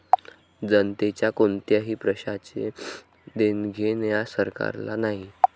जनतेच्या कोणत्याही प्रश्नाचे देणघेण या सरकारला नाही.